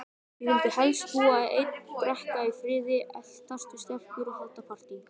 Ég vildi helst búa einn, drekka í friði, eltast við stelpur og halda partý.